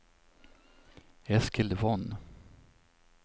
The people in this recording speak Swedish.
Eskil Von